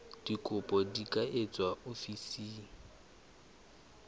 dikopo di ka etswa ofising